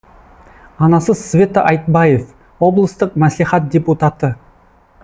анасы света айтбаев облыстық мәслихат депутаты